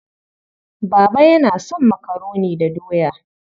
Baba yana son makaroni da doya.